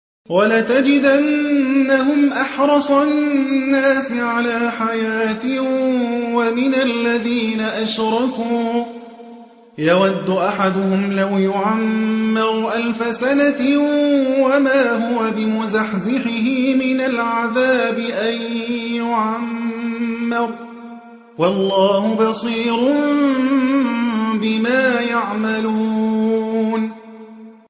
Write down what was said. وَلَتَجِدَنَّهُمْ أَحْرَصَ النَّاسِ عَلَىٰ حَيَاةٍ وَمِنَ الَّذِينَ أَشْرَكُوا ۚ يَوَدُّ أَحَدُهُمْ لَوْ يُعَمَّرُ أَلْفَ سَنَةٍ وَمَا هُوَ بِمُزَحْزِحِهِ مِنَ الْعَذَابِ أَن يُعَمَّرَ ۗ وَاللَّهُ بَصِيرٌ بِمَا يَعْمَلُونَ